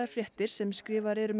fréttir sem skrifaðar eru með